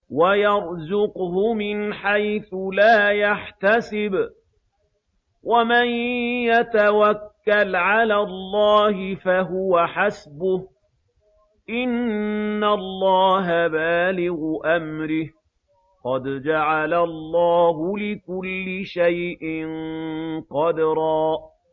وَيَرْزُقْهُ مِنْ حَيْثُ لَا يَحْتَسِبُ ۚ وَمَن يَتَوَكَّلْ عَلَى اللَّهِ فَهُوَ حَسْبُهُ ۚ إِنَّ اللَّهَ بَالِغُ أَمْرِهِ ۚ قَدْ جَعَلَ اللَّهُ لِكُلِّ شَيْءٍ قَدْرًا